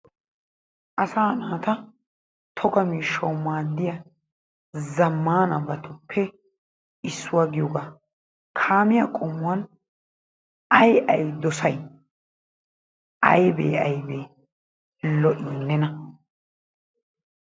Asaa naata toga miishshawu maadiya zammaanabatuppe issuwa giyogaa. Kaamiya qommuwan ayi ayi dosay? Aybee aybee lo'i nena?